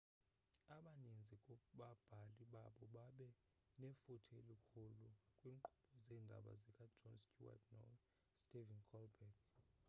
abaninzi kubabhali babo babe nefuthe elikhulu kwiinkqubo zeendaba zika-jon stewart no-stephen colbert